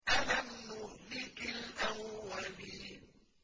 أَلَمْ نُهْلِكِ الْأَوَّلِينَ